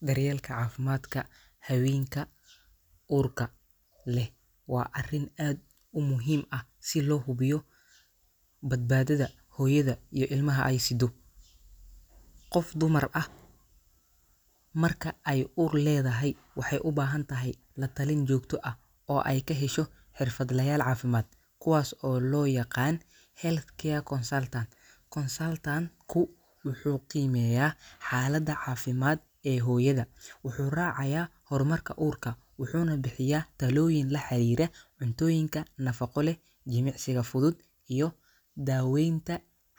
Daryeelka caafimaadka haweenka uurka leh waa arrin aad u muhiim ah si loo hubiyo badbaadada hooyada iyo ilmaha ay siddo. Qof dumar ah marka ay uur leedahay waxay u baahan tahay la-talin joogto ah oo ay ka hesho xirfadlayaal caafimaad, kuwaas oo loo yaqaan healthcare consultants. Consultant-ku wuxuu qiimeeyaa xaaladda caafimaad ee hooyada, wuxuu raacayaa horumarka uurka, wuxuuna bixiyaa talooyin la xiriira cuntooyinka nafaqo leh, jimicsiga fudud, iyo daaweynta